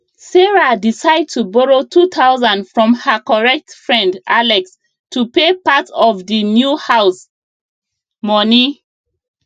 sarah decide to borrow 2000 from her correct friend alex to pay part of d new house money